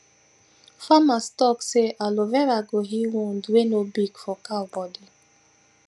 farmers talk say aloe vera go heal wound wey no big for cow bodi